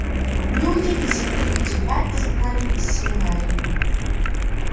неудивительно что тебя изгнали из семинарии